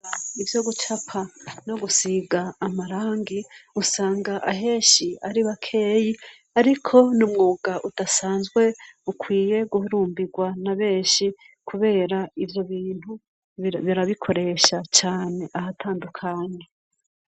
ibyo gucapa no gusiga amarangi usanga aheshi ari bakeyi ariko numwuga utasanzwe ukwiye guhurumbirwa na benshi kubera ibyo bintu birabikoresha cyane ahatandukanye